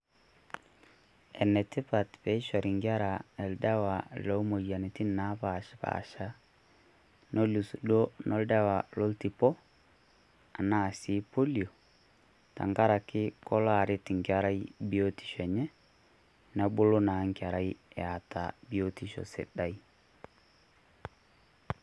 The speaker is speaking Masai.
Enatipaat pee eshorii nkerra eldowa lo moyanitin napeaspaasha .Neluus doo no oldawa loitipo ena sii polio .Teng'araki keloo areet enkerai buutisho enye nebuu naa enkerra eeta buutisho sidai.